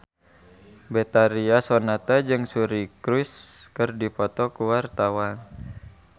Betharia Sonata jeung Suri Cruise keur dipoto ku wartawan